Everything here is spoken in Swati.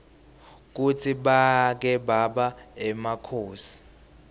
kutsi bake baba emakhosi